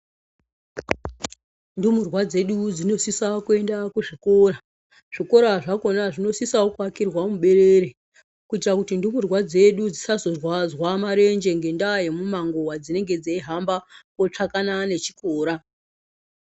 Ndumurwa dzedu dzinosisa kuenda kuzvikora zvikora zvakona zvinosisawo kuakwa muberere kuitira kuti ndumurwa dzedu dzisazorwadza marenje ngenda yemumango wadzinenge dzeihamba kotsvakana nechikora.